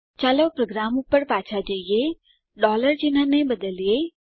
ચાલો પ્રોગ્રામ પર પાછા જઈએ ચિન્હને બદલીએ